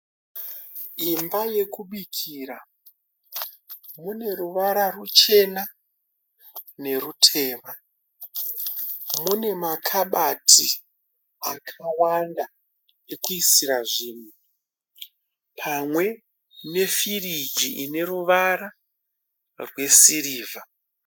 Imba yekubikira, mune ruvara ruchena nerutema. Mune makabati akawanda ekuisira zvinhu pamwe nefiriji ineruvara rwesirivha.